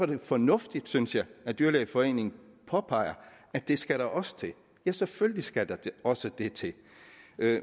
det fornuftigt synes jeg at dyrlægeforeningen påpeger at det skal der også til ja selvfølgelig skal der også det til